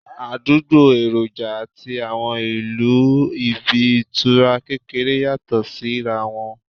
Àdúgbò, èròjà àti àwọn ìlò ibi ìtura kékeré yàtọ̀ sí ra wọn